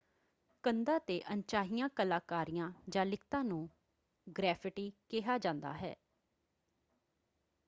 ਕੰਧਾਂ ‘ਤੇ ਅਣਚਾਹੀਆਂ ਕਲਾਕਾਰੀਆਂ ਜਾਂ ਲਿਖਤਾਂ ਨੂੰ ਗ੍ਰੈਫਿਟੀ ਕਿਹਾ ਜਾਂਦਾ ਹੈ।